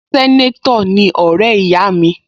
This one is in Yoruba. Sẹ́nétọ̀ ni ọ̀rẹ́ ìyá mi